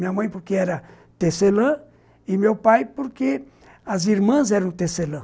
Minha mãe, porque era tecelã, e meu pai, porque as irmãs eram tecelã.